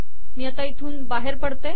मी बाहेर पडते